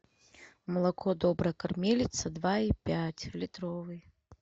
молоко добрая кормилица два и пять литровый